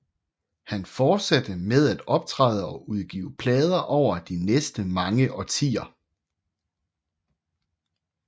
Han fortsatte med at optræde og udgive plader over de næste mange årtier